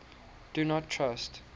do not trust